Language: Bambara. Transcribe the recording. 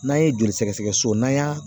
N'an ye joli sɛgɛsɛgɛ so n'an y'a